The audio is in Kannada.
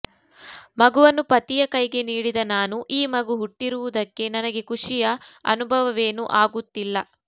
ಮಗುವನ್ನು ಪತಿಯ ಕೈಗೆ ನೀಡಿದ ನಾನು ಈ ಮಗು ಹುಟ್ಟಿರುವುದಕ್ಕೆ ನನಗೆ ಖುಷಿಯ ಅನುಭವವೇನೂ ಆಗುತ್ತಿಲ್ಲ